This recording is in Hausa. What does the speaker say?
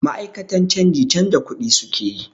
Ma'akatan canji canza kuɗi su ke yi.